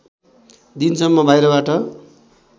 दिनसम्म बाहिरबाट